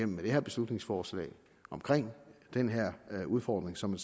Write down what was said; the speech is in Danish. med det her beslutningsforslag omkring den her udfordring som